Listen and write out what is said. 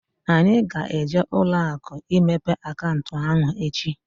Anyị ga-eje ụlọakụ imepe akaụntụ ahụ echi